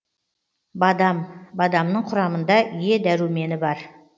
бадам бадамның құрамында е дәрумені бар